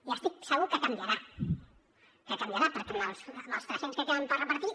i estic segur que canviarà que canviarà perquè amb els tres cents que queden per repartir